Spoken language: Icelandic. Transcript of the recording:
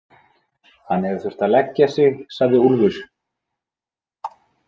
Hann hefur þurft að leggja sig, sagði Úlfur.